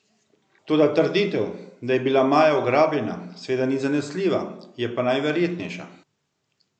Toda trditev, da je bila Maja ugrabljena, seveda ni zanesljiva, je pa najverjetnejša.